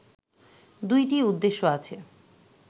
দুটিই উদ্দেশ্য আছে